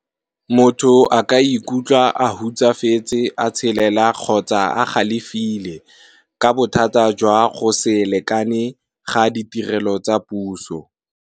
Motho a ka ikutlwa a hutsafetse a tshelela kgotsa a galefile, ka bothata jwa go se lekane ga ditirelo tsa puso.